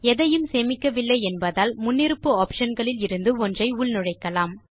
எதையும் சேமிக்கவில்லை என்பதால் முன்னிருப்பு ஆப்ஷன் களில் இருந்து ஒன்றை உள்நுழைக்கலாம்